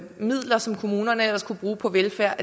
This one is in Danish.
midler som kommunerne ellers kunne bruge på velfærd